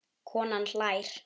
Konan hlær.